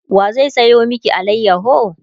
wa zai sayo maki alayaho?